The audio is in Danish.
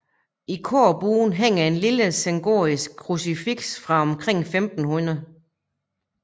I korbuen hænger et lille sengotisk krucifiks fra omkring 1500